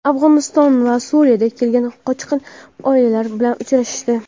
Afg‘oniston va Suriyadan kelgan qochqin oilalar bilan uchrashdi.